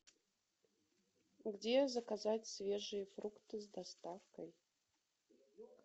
где заказать свежие фрукты с доставкой